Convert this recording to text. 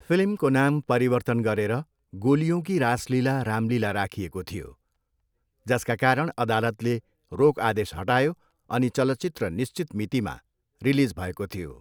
फिल्मको नाम परिवर्तन गरेर गोलियों की रासलीला रामलीला राखिएको थियो, जसका कारण अदालतले रोक आदेश हटायो अनि चलचित्र निश्चित मितिमा रिलिज भएको थियो।